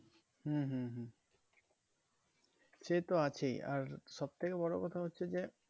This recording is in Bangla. হম হম হম সে তো আছেই আর সব থেকে বড়ো কথা হচ্ছে যে